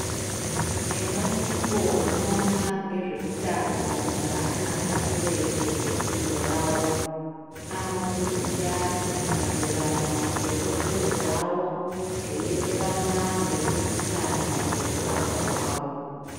Ebandiko rinoona ngezveutano hweana pashi reshe ngefundo yawo, anofundise antu maererano ngekodzero dzawo zveienderana ngeutano ngekurapwa kwawo.